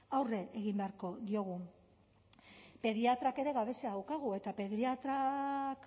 aurre egin beharko diogu pediatrak ere gabezia daukagu eta pediatrak